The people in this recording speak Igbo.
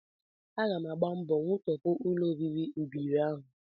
Aga m agba mbọ wutọpụ ụlọobibi ụbịrị ahụ